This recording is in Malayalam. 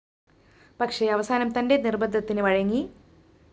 പക്ഷേ അവസാനം തന്റെ നിര്‍ബന്ധത്തിന് വഴങ്ങി